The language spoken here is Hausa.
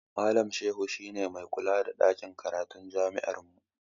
Malam Shehu shi ne mai kula da ɗakin karatun jami'armu.